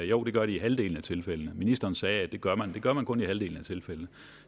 jo det gør de i halvdelen af tilfældene ministeren sagde at det gør man det gør man kun i halvdelen af tilfældene